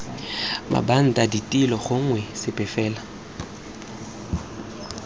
mabanta ditilo gongwe sepe fela